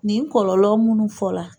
Nin kɔlɔlɔ munnu fɔ la